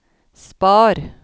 spar